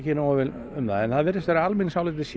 nógu vel um það en það virðist vera að almenningsálitið sé